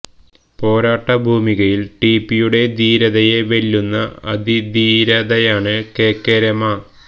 പോരാട്ട ഭൂമികയിൽ ടിപി യുടെ ധീരതയെ വെല്ലുന്ന അതിധീരതയാണ് കെ കെ രമ